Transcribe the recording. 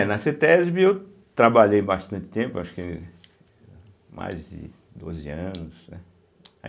É, na cêtésbe eu trabalhei bastante tempo, acho que mais de doze anos, né